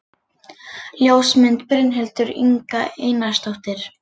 Ljósmynd: Brynhildur Inga Einarsdóttir